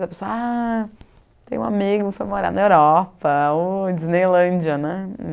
a pessoa, ah tem um amigo que foi morar na Europa, ô Disneylândia né.